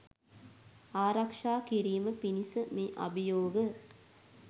ආරක්‍ෂා කිරීම පිණිස මේ අභියෝග